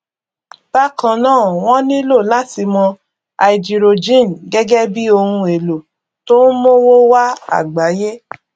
bákan náà wọn nílò láti mọ háídírójìn gẹgẹ bí ohun èlò tó n mówó wá àgbáyé